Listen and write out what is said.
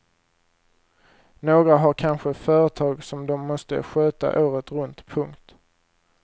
Några har kanske företag som de måste sköta året runt. punkt